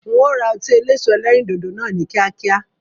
Ń ó ra ọtí eléso ẹlẹ́rìndòdò náà ni kíákíá.